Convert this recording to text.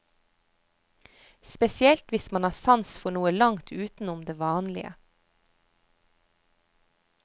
Spesielt hvis man har sans for noe langt utenom det vanlige.